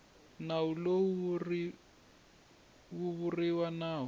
nawu lowu wu vuriwa nawu